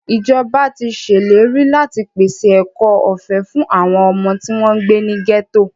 Ìjọba tí ṣèlérí láti pèse ẹ̀kọ́ ọ̀fẹ́ fún àwọn ọmọ tí wọ́n ń gbé ní gẹ́tò.